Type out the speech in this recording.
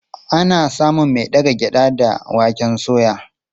Ana samun mai daga gyaɗa da waken soya.